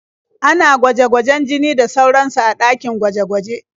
Ana gwaje-gwajen jini da sauransu a ɗakin gwaje-gwaje.